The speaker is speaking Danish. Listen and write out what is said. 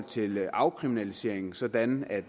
til afkriminalisering sådan